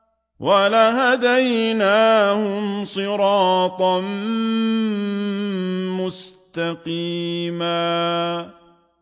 وَلَهَدَيْنَاهُمْ صِرَاطًا مُّسْتَقِيمًا